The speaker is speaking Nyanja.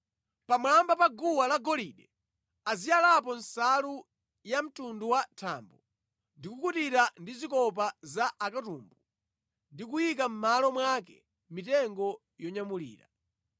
“Pamwamba pa guwa la golide aziyalapo nsalu ya mtundu wa thambo ndi kukutira ndi zikopa za akatumbu ndi kuyika mʼmalo mwake mitengo yonyamulira.